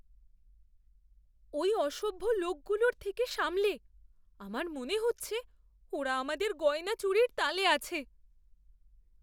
ওই অসভ্য লোকগুলোর থেকে সামলে! আমার মনে হচ্ছে ওরা আমাদের গয়না চুরির তালে আছে।